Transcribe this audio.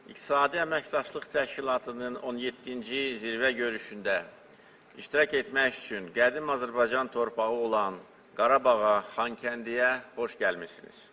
İqtisadi Əməkdaşlıq Təşkilatının 17-ci zirvə görüşündə iştirak etmək üçün qədim Azərbaycan torpağı olan Qarabağa, Xankəndiyə xoş gəlmisiniz.